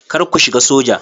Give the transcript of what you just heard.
Kar ku shiga soja.